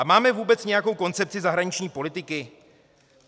A máme vůbec nějakou koncepci zahraniční politiky?